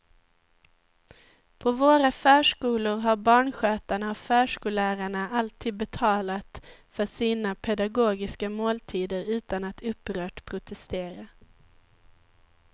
På våra förskolor har barnskötarna och förskollärarna alltid betalat för sina pedagogiska måltider utan att upprört protestera.